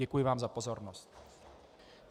Děkuji vám za pozornost.